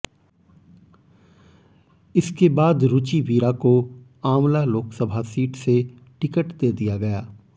इसके बाद रुचि वीरा को आंवला लोकसभा सीट से टिकट दे दिया गया